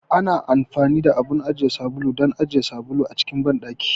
Ana amfani da abun ajiye sabulu don ajiye sabulu a cikin banɗaki.